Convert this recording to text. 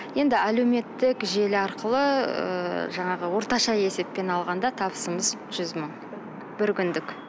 енді әлеуметтік желі арқылы ыыы жаңағы орташа есеппен алғанда табысымыз жүз мың бір күндік